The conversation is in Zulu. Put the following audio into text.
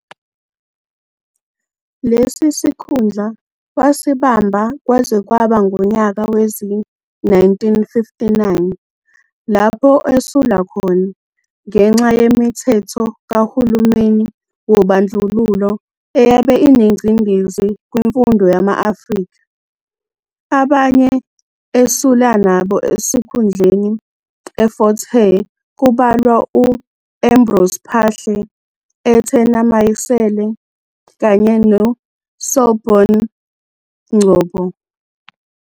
Lesi sikhundla wasibamba kwaze kwaba ngunyaka wezi-1959 lapho esula khona ngenxa yemithetho kahulumeni wobandlululo eyabe inengcindezi kwimfundo yama-Afrika. Abanye esula nabo sikhundleni eFort Hare kubalwa u-Ambrose Phahle, Ethena Mayisele kanye no Selbourne Ngcobo.